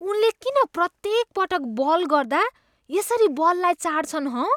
उनले किन प्रत्येक पटक बल गर्दा यसरी बललाई चाट्छन् हँ ?